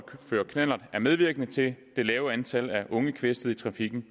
føre knallert er medvirkende til det lave antal af unge kvæstede i trafikken